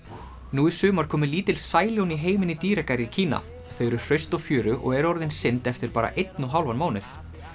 nú í sumar komu lítil sæljón í heiminn í dýragarði í Kína þau eru hraust og fjörug og eru orðin synd eftir bara einn og hálfan mánuð